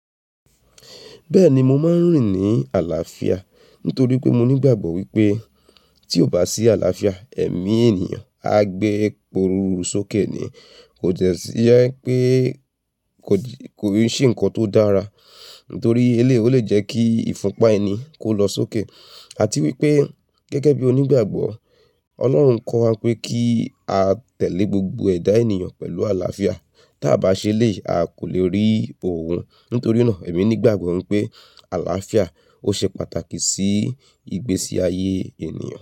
Bẹ́ẹ̀ni mo máa ń rìn ní àlàáfíà nítorí pé mo nígbàgbọ́ wípé tí ò bá sí àlàáfíà, ẹ̀mí ènìyàn á gbé iporuru sókè ni. Kò jẹ́ si pé kò sì ń se n kan tó dára nítorí eléyìí ó lè jẹ́ kí ìfúnpá ẹni kó lọ sókè. Àti wípé gẹ́gẹ́ bí onígbàgbọ́ Ọlọ́run kọ́ wa pé kí a tẹ̀lé gbogbo ẹ̀dá ènìyàn pẹ̀lú àlàáfíà tí a bá ṣe eléyìí a kò lè rí òun. Nítorí náà èmi nígbàgbọ́ wípé àlàáfíà ó ṣe pàtàkì sí ìgbésí ayé ènìyàn.